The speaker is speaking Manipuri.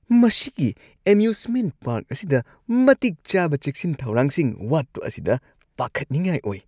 ꯃꯁꯤꯒꯤ ꯑꯦꯃ꯭ꯌꯨꯖꯃꯦꯟꯠ ꯄꯥꯔꯛ ꯑꯁꯤꯗ ꯃꯇꯤꯛ ꯆꯥꯕ ꯆꯦꯛꯁꯤꯟ- ꯊꯧꯔꯥꯡꯁꯤꯡ ꯋꯥꯠꯄ ꯑꯁꯤꯗ ꯄꯥꯈꯠꯅꯤꯡꯉꯥꯏ ꯑꯣꯏ ꯫